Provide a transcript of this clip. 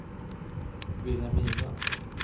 Vilhelmina